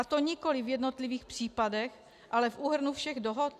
A to nikoliv v jednotlivých případech, ale v úhrnu všech dohod.